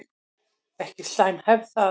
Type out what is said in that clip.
Ekki slæm hefð það.